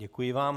Děkuji vám.